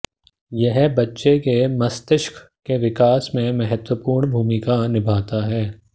यह बच्चे के मस्तिष्क के विकास में महत्वपूर्ण भूमिका निभाता है